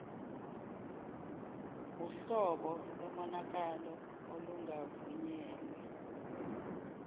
wuhlobo lomonakalo olungavunyelwe